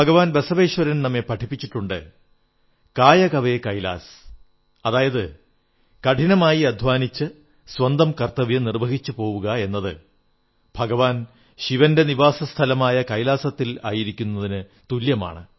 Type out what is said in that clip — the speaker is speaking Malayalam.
ഭഗവാൻ ബസവേശ്വരൻ നമ്മെ പഠിപ്പിച്ചിട്ടുണ്ട് കായകവേ കൈലാസ് അതായത് കഠിനമായി അധ്വാനിച്ച് സ്വന്തം കർത്തവ്യം നിർവ്വഹിച്ചു പോവുകയെന്നത് ഭഗവാൻ ശിവന്റെ നിവാസസ്ഥലമായ കൈലാസത്തിൽ ആയിരിക്കുന്നതിനു തുല്യമാണ്